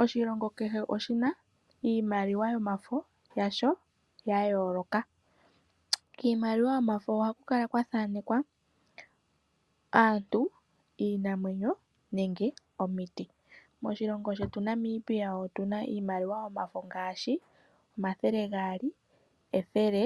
Oshilongo kehe oshina iimaliwa yomafo yasho ya yooloka. Kiimaliwa yomafo ohaku kala kwa thaanekwa aantu, iinamwenyo nenge omiti. Moshionho shetu Namibia otu na iimaliwa yomafo ngaashi omathele gaali, ethele